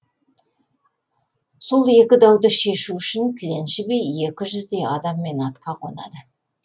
сол екі дауды шешу үшін тіленші би екі жүздей адаммен атқа қонады